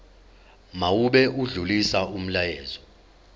mawube odlulisa umyalezo